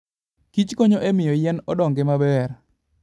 kich konyo e miyo yien odongi maber.